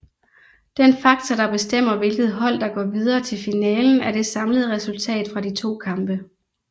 Den faktor der bestemmer hvilket hold der går videre til finalen er det samlede resultat fra de to kampe